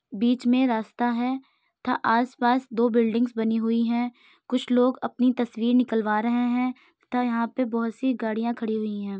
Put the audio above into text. बीच में रास्ता है तथा आसपास दो बिल्डिंग बनी हुई है। कुछ लोग अपनी तस्वीर निकलवा रहे हैं तथा यहां पे बोहोत सी गाड़ियां खड़ी हुई हैं।